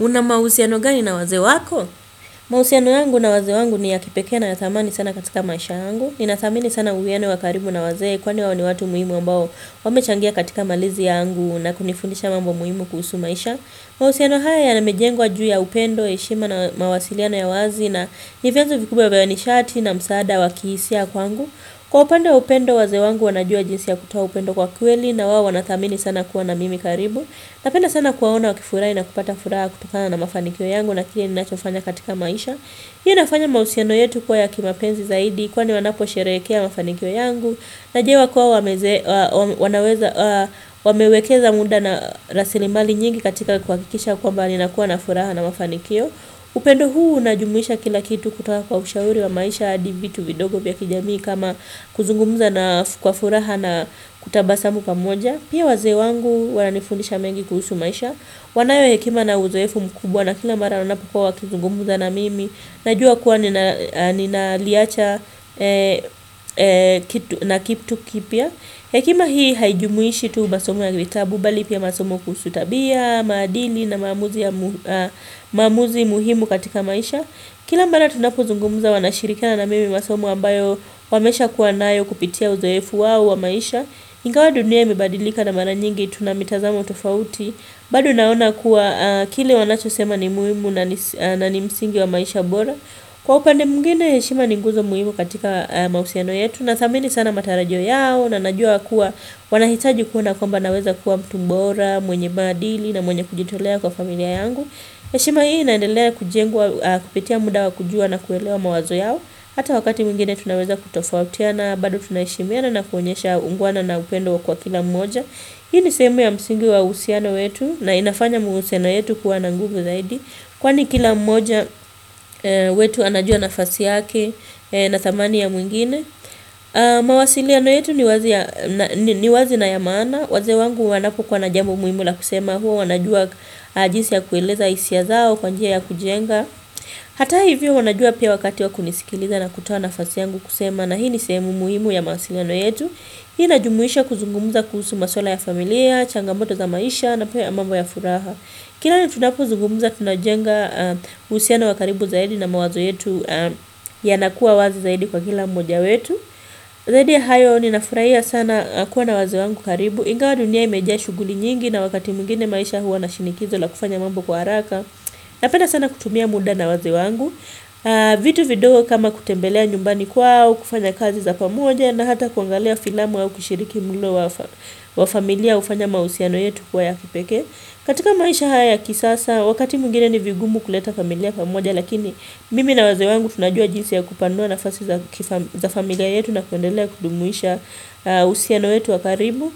Una mahusiano gani na wazee wako? Mahusiano yangu na wazee wangu ni ya kipekee na ya thamani sana katika maisha yangu. Nina dhamini sana uwiano wakaribu na wazee kwani wao ni watu muhimu ambao wamechangia katika malizi yangu na kunifundisha mambo muhimu kuhusu maisha. Mahusiano haya yamejengwa juu ya upendo, heshima na mawasiliano ya wazi na ni vyanzo vikubwa beya ni sharti na msaada wakihisia kwangu. Kwa upande wa upendo wazee wangu wanajua jinsi ya kutoa upendo kwa kweli na wao wanathamini sana kuwa na mimi karibu. Napenda sana kuwaona wakifurahi na kupata furaha kutokana na mafanikio yangu na kile ninachofanya katika maisha. Hiyo inafanya mahusiano yetu kuwa ya kimapenzi zaidi kwani wanaposherehekea mafanikio yangu. Najua kuwa wamewekeza munda na rasilimali nyingi katika kuhakikisha kwamba ninakuwa na furaha na mafanikio. Upendo huu unajumuisha kila kitu kutoka kwa ushauri wa maisha hadi vitu vidogo vya kijamii kama kuzungumuza kwa furaha na kutabasamu pamoja. Pia wazee wangu wananifundisha mengi kuhusu maisha Wanayo hekima na uzoefu mkubwa na kila mara wanapokuwa wakizungumza na mimi Najua kuwa ninaliacha na keep to keep ya Hekima hii haijumuishi tu masomo ya vitabu bali pia masomo kuhusu tabia, maadini na maamuzi muhimu katika maisha Kila mala tunapuzungumuza wanashirikiana mimi masomo ambayo wamesha kuwa nayo kupitia uzoefu wao wa maisha ingawa dunia imebadilika na mara nyingi tunamitazamo tofauti bado naona kuwa kile wanacho sema ni muhimu na ni msingi wa maisha bora Kwa upande mwingine heshima ni guzo muhimu katika mahusiano yetu na thamini sana matarajo yao na najua kuwa wanahitaji kuona kwamba naweza kuwa mtu mbora mwenye maadili na mwenye kujitolea kwa familia yangu heshima hii inaendelea kujengwa kupitia muda wa kujua na kuelewa mawazo yao hata wakati mwingine tunaweza kutofautiana bado tuna heshimiana na kuonyesha ungwana na upendo kwa kila mmoja Hii ni sehemu ya msingi wa uhusiano wetu na inafanya muhusiano yetu kuwa na nguvu zaidi Kwani kila mmoja wetu anajua nafasi yake na thamani ya mwingine mawasiliano yetu ni wazi na ya maana Wazee wangu wanapokuwa na jambo muhimu la kusema huwa wanajua jisi ya kueleza hisia zao kwa njia ya kujenga hata hivyo wanajua pia wakati wakunisikiliza na kutowa nafasi yangu kusema na hii ni sehemu muhimu ya mawasiliano yetu Hii inajumuisha kuzungumuza kuhusu maswala ya familia, changamoto za maisha na pia mambo ya furaha Kila tunapo zungumuza tunajenga uhusiano wakaribu zaidi na mawazo yetu yanakuwa wazi zaidi kwa kila moja wetu zaidi ya hayo nina furahia sana kuwa na wazee wangu karibu Ingawa dunia imejaa shuguli nyingi na wakati mwingine maisha huwa na shinikizo la kufanya mambo kwa haraka napenda sana kutumia muda na wazee wangu vitu vidogo kama kutembelea nyumbani kwao kufanya kazi za pamoja na hata kuangalia filamu au kushiriki mulo wa familia hufanya mahusiano yetu kuwa ya kipeke katika maisha haya kisasa Wakati mwingine ni vigumu kuleta familia pamoja Lakini mimi na wazee wangu tunajua jinsi ya kupandua nafasi za familia yetu na kuendelea kudumisha uhusiano wetu wakaribu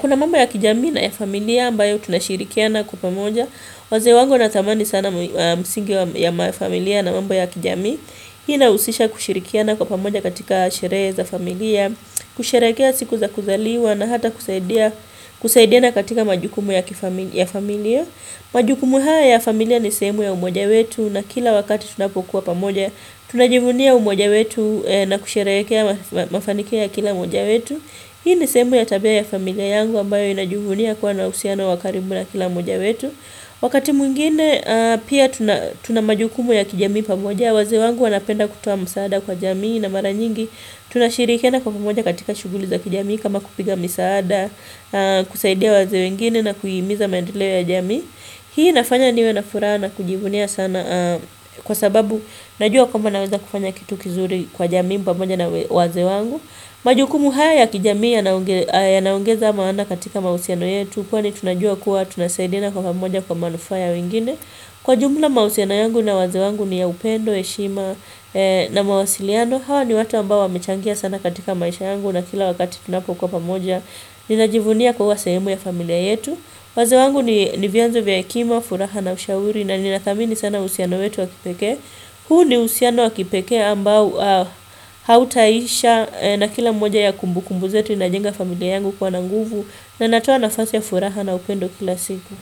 Kuna mamba ya kijamii na ya familia ambayo tunashirikiana kwa pamoja Wazee wangu wanatamani sana msingi ya mafamilia na mambo ya kijamii Hii inahusisha kushirikiana kwa pamoja katika sherehe za familia kusherekea siku za kuzaliwa na hata kusaidia kusaindiana katika majukumu ya familia majukumu haya ya familia ni semu ya umoja wetu na kila wakati tunapokuwa pamoja tunajivunia umoja wetu na kusherehekea mafanikio ya kila mmoja wetu Hii ni sehemu ya tabia ya familia yangu ambayo inajivunia kuwa na uhusiano wa karibu na kila mmoja wetu Wakati mwingine pia tuna majukumu ya kijamii pamoja, wazee wangu wanapenda kutoa msaada kwa jamii na mara nyingi tunashirikiana kwa pamoja katika shuguli za kijamii kama kupiga misaada, kusaidia wazee wengine na kuhimiza maendeleo ya jamii. Hii nafanya niwe nafuraha na kujivunia sana kwa sababu najua kwamba naweza kufanya kitu kizuri kwa jamii pamoja na wazee wangu. Majukumu haya ya kijamii yanaongeza maana katika mahusiano yetu kwani tunajua kuwa tunasaidiana kwa pamoja kwa manufaa ya wengine. Kwa jumla mahusiano yangu na wazee wangu ni ya upendo, heshima na mawasiliano. Hawa ni watu ambao wamechangia sana katika maisha yangu na kila wakati tunapokuwa pamoja ninajivunia kuwa sehemu ya familia yetu. Wazee wangu ni vianzo vya hekima, furaha na ushauri na nina thamini sana uhusiano wetu wakipekee. Huu ni uhusiano wakipekee ambao hautaisha na kila moja ya kumbukumbu zetu inajenga familia yangu kuwa na nguvu na inatoa nafasi ya furaha na upendo kila siku.